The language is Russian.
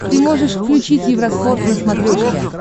ты можешь включить евроспорт на смотрешке